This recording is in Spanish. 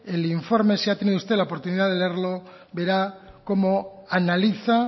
el informe si ha tenido usted la oportunidad de leerlo verá cómo analiza